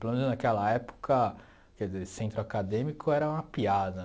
Pelo menos naquela época, quer dizer, centro acadêmico era uma piada.